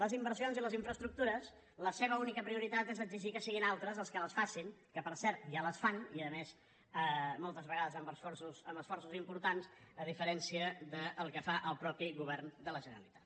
les inversions i les infraestructures la seva única prioritat és exigir que siguin altres els que les facin que per cert ja les fan i a més moltes vegades amb esforços importants a diferència del que fa el mateix govern de la generalitat